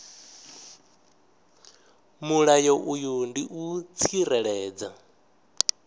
mulayo uyu ndi u tsireledza